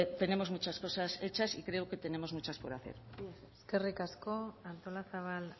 tenemos muchas cosas hechas y creo que tenemos muchas por hacer mila esker eskerrik asko artolazabal